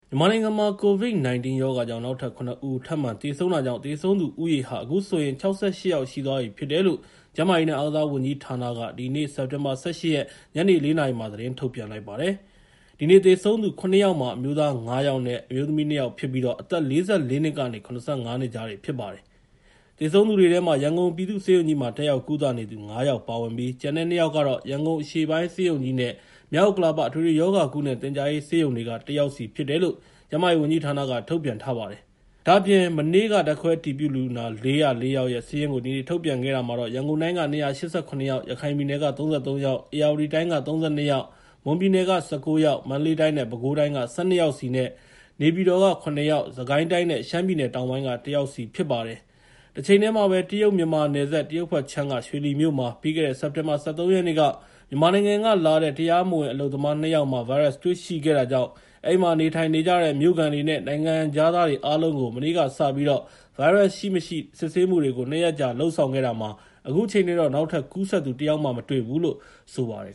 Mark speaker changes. Speaker 1: မြန်မာနိုင်ငံမှာ ကိုဗစ် ၁၉ ရောဂါကြောင့် နောက်ထပ် ၇ ဦး ထပ်မံသေဆုံးတဲ့အတွက် သေဆုံးသူဦးရေဟာ အခုဆိုရင် ၆၈ ယောက်ရှိသွားပြီဖြစ်တယ်လို့ ကျန်းမာရေးနဲ့ အားကစားဝန်ကြီးဌာနက ဒီကနေ့ စက်တင်ဘာ ၁၈ ရက် ညနေ ၄ နာရီမှာ သတင်းထုတ်ပြန်လိုက်ပါတယ်။ ဒီနေ့ သေဆုံးသူ ၇ ယောက်မှာ အမျိုးသား ၅ ယောက်နဲ့ အမျိုးသမီး ၂ ယောက်ဖြစ်ပြီး၊ အသက် ၄၄ နှစ်ကနေ ၇၅ နှစ် ကြားတွေဖြစ်ကြပါတယ်။ သေဆုံးသူတွေထဲမှာ ရန်ကုန်ပြည်သူ့ဆေးရုံကြီးမှာ တက်ရောက် ကုသနေသူ ၅ ယောက်ပါဝင်ပြီး ကျန်တဲ့ ၂ ယောက်ကတော့ ရန်ကုန်အရှေ့ပိုင်း ဆေးရုံကြီးနဲ့ မြောက်ဥက္ကလာပ အထွေထွေရောဂါနဲ့ သင်ကြားရေး ဆေးရုံတွေက ၁ ယောက်စီ ဖြစ်တယ်လို့ ကျန်းမာရေးဝန်ကြီးဌာနက ထုတ်ပြန်ထားပါတယ်။ ဒ့ါအပြင် မနေ့က ဓာတ်ခွဲအတည်ပြုလူနာ ၄၀၄ ယောက်ရဲ့ စာရင်းကို ဒီနေ့ ထုတ်ပြန်ခဲ့တာမှာတော့ ရန်ကုန်တိုင်းက ၂၈၇ ယောက်၊ ရခိုင်ပြည်နယ်က ၃၃ ယောက်၊ ဧရာဝတီတိုင်းက ၃၂၊ မွန်ပြည်နယ်က ၁၉ ယောက်၊ မန္တလေးတိုင်းနဲ့ ပဲခူးတိုင်းက ၁၂ ယောက်စီ၊ နေပြည်တော်က ၇ ယောက်၊ စစ်ကိုင်းတိုင်းနဲ့ ရှမ်းပြည်တောင်ပိုင်းက ၁ ယောက်စီဖြစ်ပါတယ်။ တချိန်တည်းမှာပဲ တရုတ် မြန်မာနယ်စပ် တရုတ်ဘက်ခြမ်းက ရွှေလီမြို့မှာ ပြီးခဲ့တဲ့ စက်တင်ဘာ ၁၃ ရက်နေ့က မြန်မာနိုင်ငံကလာတဲ့ တရားမဝင်အလုပ်သမား ၂ ယောက်မှာ ဗိုင်းရပ်စ်တွေ ရှိခဲ့တာကြောင့် အဲဒီမှာ နေုထိုင်နေကြတဲ့ မြို့ခံတွေနဲ့ နိုင်ငံခြားသားတွေအားလုံးကို မနေ့ကစပြီး ဗိုင်းရပ်စ်ရှိ၊ မရှိ စစ်ဆေးမှုတွေကို ၂ ရက်ကြာ လုပ်ဆောင်ခဲ့တာမှာ အခုချိန်ထိတော့ နောက်ထပ်ကူးစက်သူ တစ်ယောက်မှ မတွေ့သေးဘူးလို့ ဆိုပ
Speaker 2: ါတယ်